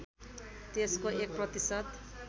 त्यसको एक प्रतिशत